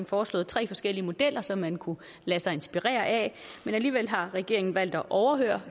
foreslået tre forskellige modeller som man kunne lade sig inspirere af men alligevel har regeringen valgt at overhøre